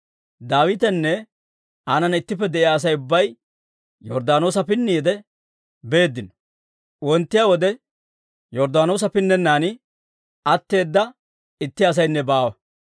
Daawitenne aanana ittippe de'iyaa Asay ubbay Yorddaanoosa pinniide beeddino. Wonttiyaa wode Yorddaanoosa pinnennan atteeda itti asaynne baawa.